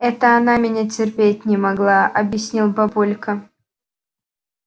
это она меня терпеть не могла объяснил папулька